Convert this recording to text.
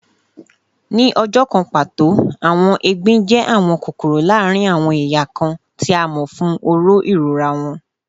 Ni ọjọ kan pato, awọn egbin jẹ awọn kokoro laarin awọn eya kan, ti a mọ fun oró irora wọn